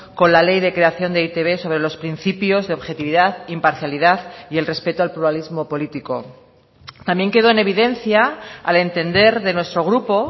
con la ley de creación de e i te be sobre los principios de objetividad imparcialidad y el respeto al pluralismo político también quedó en evidencia al entender de nuestro grupo